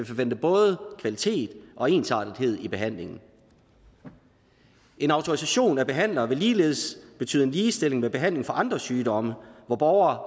forvente både kvalitet og ensartethed i behandlingen en autorisation af behandlere vil ligeledes betyde en ligestilling med behandling for andre sygdomme hvor borgere